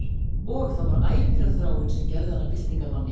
Og það var ævintýraþráin sem gerði hann að byltingarmanni